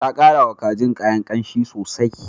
Ta karawa kajin kayan ƙanshi sosai.